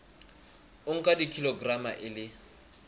o nka kilograma e le